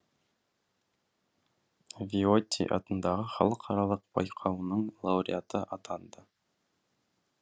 виотти атындағы халықаралық байқауының лауреаты атанды